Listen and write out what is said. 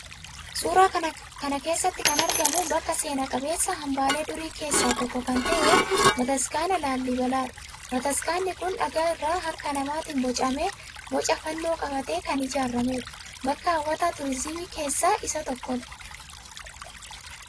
Suuraa kana keessatti kan argamu bakka seena qabeessa, hambaalee durii keessaa tokko kan ta'e bataskaana Laalibelaadha. Bataskaanni kun dhagaa irraa harka namaatiin bocamee, boca fannoo qabaatee kan ijaarameedha. Bakka hawwata tuurizimii keessaa isa tokkodha.